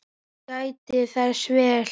Hún gætti þess vel.